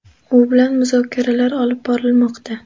U bilan muzokaralar olib borilmoqda.